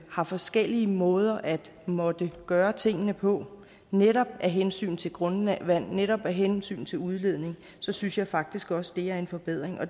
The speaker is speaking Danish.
har forskellige måder at måtte gøre tingene på netop af hensyn til grundvand netop af hensyn til udledning så synes jeg faktisk også det er en forbedring